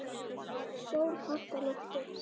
Sól hátt á lofti.